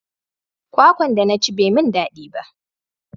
Kwakwan da na ci bai mun dadi ba